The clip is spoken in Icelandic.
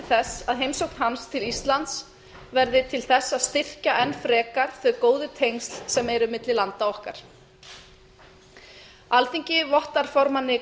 þess að heimsókn hans til íslands verði til þess að styrkja enn frekar þau góðu tengsl sem eru milli landa okkar alþingi vottar formanni